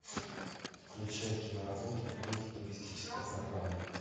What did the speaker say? включай киноработу в духе туристической программы